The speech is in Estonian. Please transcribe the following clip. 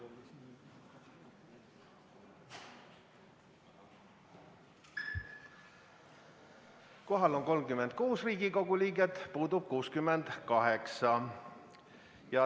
Kohal on 36 Riigikogu liiget, puudub 65.